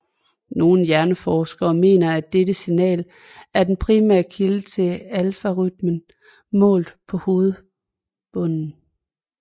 Nogle hjerneforskere mener at dette signal er den primære kilde til alfarytmen målt på hovedbunden